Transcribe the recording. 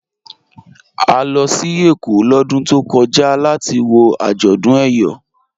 À lọ sí Ékó lódún tó kọja latí wọ ajọ́dún Eyọ.